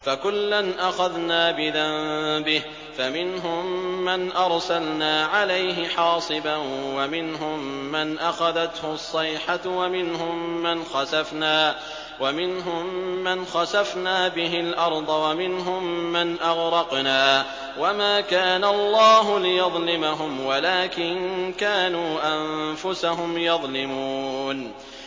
فَكُلًّا أَخَذْنَا بِذَنبِهِ ۖ فَمِنْهُم مَّنْ أَرْسَلْنَا عَلَيْهِ حَاصِبًا وَمِنْهُم مَّنْ أَخَذَتْهُ الصَّيْحَةُ وَمِنْهُم مَّنْ خَسَفْنَا بِهِ الْأَرْضَ وَمِنْهُم مَّنْ أَغْرَقْنَا ۚ وَمَا كَانَ اللَّهُ لِيَظْلِمَهُمْ وَلَٰكِن كَانُوا أَنفُسَهُمْ يَظْلِمُونَ